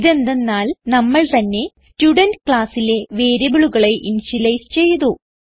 ഇതെന്തന്നാൽ നമ്മൾ തന്നെ സ്റ്റുഡെന്റ് classലെ വേരിയബിളുകളെ ഇനിഷ്യലൈസ് ചെയ്തു